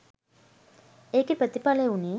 ඒකෙ ප්‍රතිඵලය වුණේ